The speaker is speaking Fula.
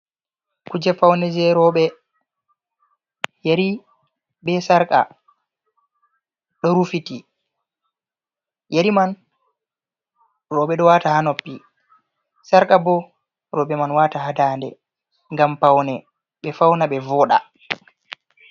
Kuje faune je roɓe yari be sarqa ɗo rufiti, yari man roɓe ɗo wata ha noppi, sharqa bo roɓe man wata ha dande ngam paune be fauna ɓe voda.